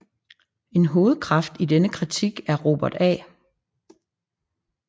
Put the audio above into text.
En hovedkraft i denne kritik er Robert A